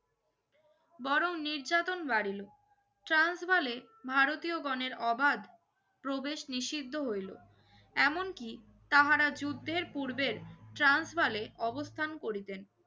বরণ নির্যাতন বারিলো ট্রান্স বালে ভারতীয়গনের ওবাদ প্রবেশ নিষিদ্ধ হইলো এমন কি তাহারা যুদ্ধের পূর্ববের ট্রান্স বালে অবস্থান করিতেন